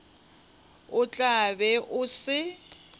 o tla be o se